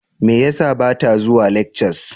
Me yasa bata zuwa lectures?